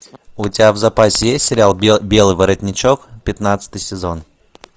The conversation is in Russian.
у тебя в запасе есть сериал белый воротничок пятнадцатый сезон